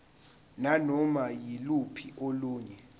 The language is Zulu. nanoma yiluphi olunye